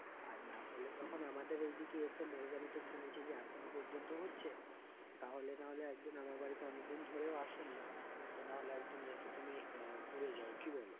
আর না হলে তখন আমাদের এই দিকে এসে শুনেছি যে এখনো পর্যন্ত হচ্ছে তাহলে নাহলে একদিন আমাদের বাড়িতে অনেকদিন ধরে আসোনি তো না হলে একদিন এসে তুমি আহ ঘুরে যাও কি বলো?